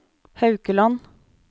Haukeland